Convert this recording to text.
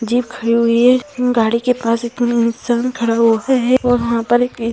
jeep खड़ी हुई है गाड़ी के पास इतने खड़े होते है वहाँ पर --